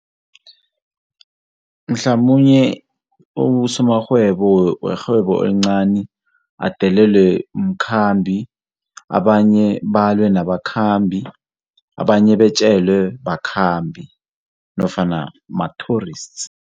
Mhlamunye abosomarhwebo werhwebo elincani adelelwe mkhambi, abanye balwe nabakhambi, abanye batjelwe bakhambi nofana ma-tourists.